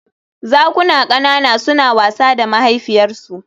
Zakuna ƙanana suna wasa da mahaifiyarsu